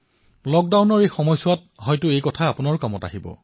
লক্ডাউনৰ সময়ছোৱাত আপোলোকৰো হয়তো এয়া কামত আহিব পাৰে